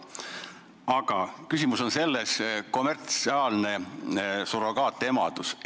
Aga küsimus on kommertsiaalses surrogaatemaduses.